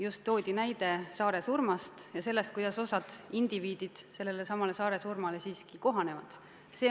Äsja toodi näide saaresurmast ja sellest, kuidas osa indiviide sellesama saaresurmaga siiski kohaneb.